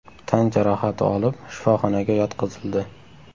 tan jarohati olib, shifoxonaga yotqizildi.